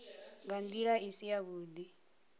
nga ndila i si yavhudi